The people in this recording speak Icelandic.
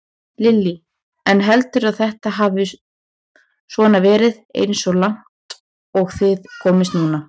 Lillý: En telurðu að þetta hafi svona verið eins og langt og þið komist núna?